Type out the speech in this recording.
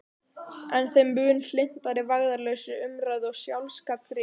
En þeim mun hlynntari vægðarlausri umræðu og sjálfsgagnrýni.